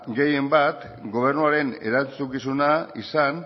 gehien bat gobernuaren erantzukizuna izan